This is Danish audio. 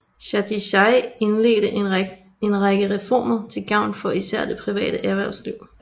Chatichai indledte en række reformer til gavn for især det private erhvervsliv